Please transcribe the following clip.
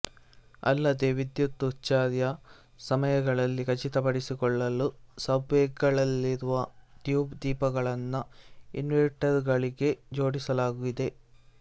ಅಲ್ಲದೇ ವಿದ್ಯುತ್ ಉಚ್ಛ್ರಾಯ ಸಮಯಗಳಲ್ಲಿ ಖಚಿತಪಡಿಸಿಕೊಳ್ಳಲು ಸಬ್ವೇಗಳಲ್ಲಿರುವ ಟ್ಯೂಬ್ ದೀಪಗಳನ್ನು ಇನ್ವೆರ್ಟೆರ್ಗಳಿಗೆ ಜೋಡಿಸಲಾಗಿದೆ